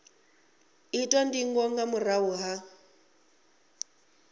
itwa ndingo nga murahu ha